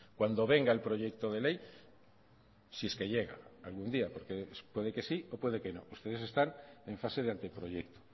cuando venga el proyecto de ley si es que llega algún día porque puede que sí o puede que no ustedes están en fase de anteproyecto